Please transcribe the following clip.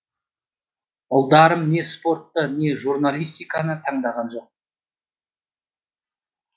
ұлдарым не спортты не журналистиканы таңдаған жоқ